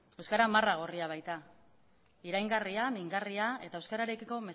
euskara marra gorria baita iraingarria mingarria eta euskararekiko